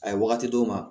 A ye waati d'u ma